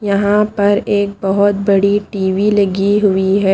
यहां पर एक बहोत बड़ी टी_वी लगी हुई है।